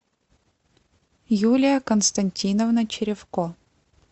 юлия константиновна черевко